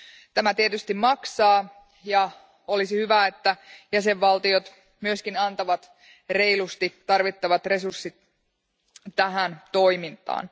Tämä tietysti maksaa, ja olisi hyvä, että jäsenvaltiot myöskin antavat reilusti tarvittavat resurssit tähän toimintaan.